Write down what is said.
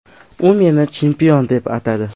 U meni chempion deb atadi.